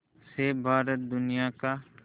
से भारत दुनिया का